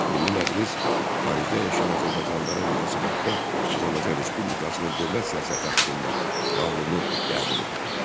Milli Məclis xaricdə yaşayan azərbaycanlılara münasibətdə Azərbaycan Respublikasının dövlət siyasəti haqqında qanunu qəbul etdi.